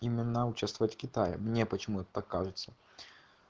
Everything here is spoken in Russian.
именно участвовать в китае мне почему-то так кажется